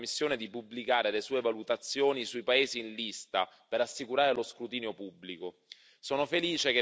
Per questo chiediamo alla Commissione di pubblicare le sue valutazioni sui paesi in lista per assicurare lo scrutinio pubblico.